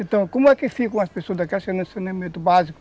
Então, como é que ficam as pessoas daqui, saneamento básico,